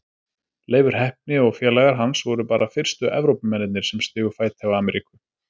Leifur heppni og félagar hans voru bara fyrstu Evrópumennirnir sem stigu fæti á Ameríku.